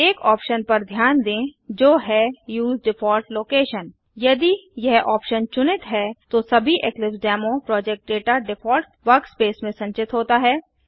एक ऑप्शन पर ध्यान दें जो है उसे डिफॉल्ट लोकेशन यदि यह ऑप्शन चुनित है तो सभी Eclipse demo project data default workspace में संचित होता है